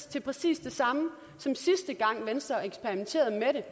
til præcis det samme som sidste gang da venstre eksperimenterede med